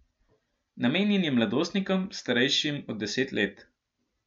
Namenjen je mladostnikom, starejšim od deset let.